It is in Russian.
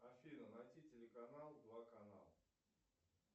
афина найти телеканал два канал